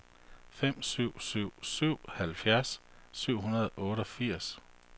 fem syv syv syv halvfjerds syv hundrede og otteogfirs